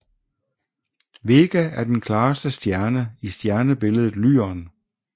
Vega er den klareste stjerne i stjernebilledet Lyren